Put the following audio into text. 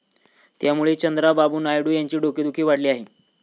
त्यामुळे चंद्रबाबू नायडू यांची डोकेदुखी वाढली आहे.